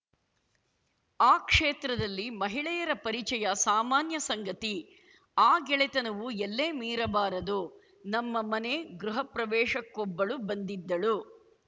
ಆ ಕ್ಷೇತ್ರದಲ್ಲಿ ಮಹಿಳೆಯರ ಪರಿಚಯ ಸಾಮಾನ್ಯ ಸಂಗತಿ ಆ ಗೆಳೆತನವು ಎಲ್ಲೆ ಮೀರಬಾರದು ನಮ್ಮ ಮನೆ ಗೃಹ ಪ್ರವೇಶಕ್ಕೊಬ್ಬಳು ಬಂದಿದ್ದಳು